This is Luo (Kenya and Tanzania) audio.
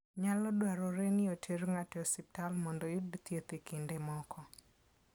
Nyalo dwarore ni oter ng'ato e osiptal mondo oyud thieth e kinde moko.